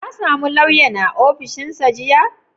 Ka same lauyan a ofishinsa jiya?